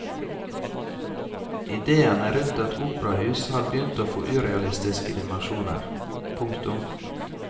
Idéene rundt et operahus har begynt å få urealistiske dimensjoner. punktum